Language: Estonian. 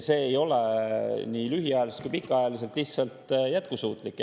See ei ole lühiajaliselt ega pikaajaliselt lihtsalt jätkusuutlik.